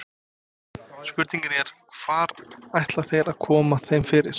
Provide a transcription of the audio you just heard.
Spurningin er, hvar ætla þeir að koma þeim fyrir?